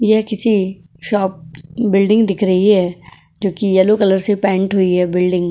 ये किसी shop building दिख रही है ज्योकि येल्लो कलर से पेंट हुई है बिल्डिंग ।